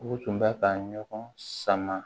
U tun bɛ ka ɲɔgɔn sama